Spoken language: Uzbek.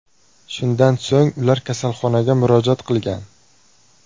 Shundan so‘ng ular kasalxonaga murojaat qilgan.